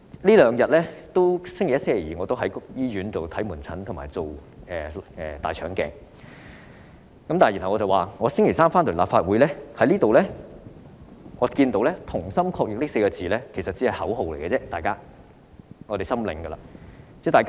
在星期一和星期二，我在醫院看門診，負責大腸鏡檢查，星期三回到立法會，看到"同心抗疫"這4個字，我知道這只是口號而已。